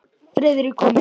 Friðrik kom inn.